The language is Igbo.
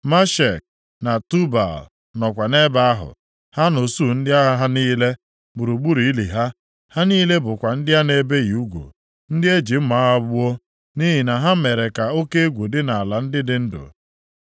“Meshek na Tubal nọkwa nʼebe ahụ, ha na usuu ndị agha ha niile, gburugburu ili ha. Ha niile bụkwa ndị a na-ebighị ugwu, ndị e ji mma agha gbuo, nʼihi na ha mere ka oke egwu ha dị nʼala ndị dị ndụ.